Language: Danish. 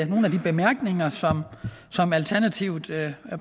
nogle af de bemærkninger som alternativet